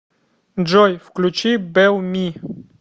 джой включи бел ми